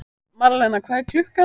Marlena, hvað er klukkan?